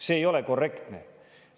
See ei ole korrektne.